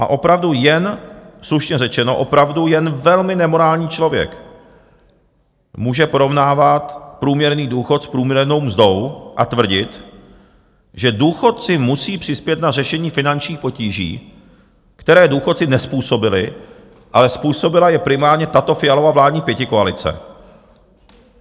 A opravdu jen, slušně řečeno, opravdu jen velmi nemorální člověk může porovnávat průměrný důchod s průměrnou mzdou a tvrdit, že důchodci musí přispět na řešení finančních potíží, které důchodci nezpůsobili, ale způsobila je primárně tato Fialova vládní pětikoalice.